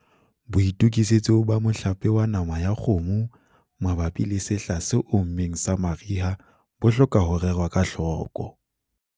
Boitokisetso ba mohlape wa nama ya kgomo mabapi le sehla se ommeng sa mariha bo hloka ho rerwa ka hloko.